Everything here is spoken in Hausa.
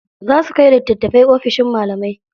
Za su kai littatafai ofishin malamai.